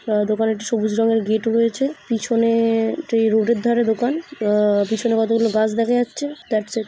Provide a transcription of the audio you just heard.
অ্যা দোকানে একটি সবুজ রঙের গেট রয়েছে পিছনে-এ এটি রোড -এর ধারে দোকান অ্যা পিছনে কতকগুলো গাছ দেখা যাচ্ছে দাটস ইট ।